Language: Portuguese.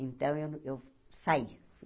Então, eu eu saí.